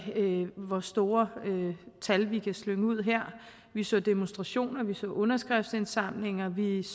hvor store tal vi kan slynge ud her vi så demonstrationer vi så underskriftsindsamlinger vi